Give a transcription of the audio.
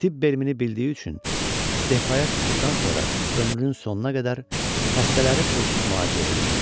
Tibb elmini bildiyi üçün istefaya çıxdıqdan sonra ömrünün sonuna qədər xəstələri pulsuz müalicə eləyirdi.